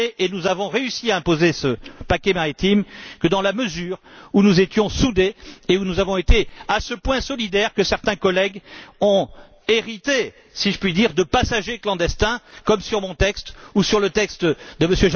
Nous n'avons réussi à imposer ce paquet maritime que dans la mesure où nous étions soudés et où nous avons été à ce point solidaires que certains collègues ont hérité, si je puis dire, de passagers clandestins, comme mon texte ou le texte de